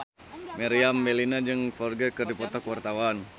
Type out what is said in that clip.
Meriam Bellina jeung Ferdge keur dipoto ku wartawan